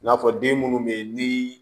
I n'a fɔ den munnu be yen ni